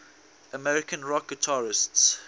american rock guitarists